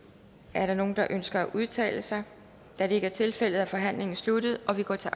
er der nogen der ønsker at udtale sig da det ikke er tilfældet er forhandlingen sluttet og vi går til